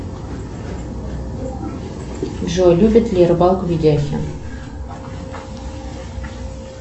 джой любит ли рыбалку видяхин